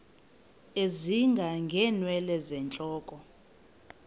ezinga ngeenwele zentloko